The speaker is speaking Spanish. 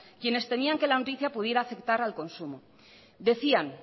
quienes temían que la noticia pudiera afectar al consumo decían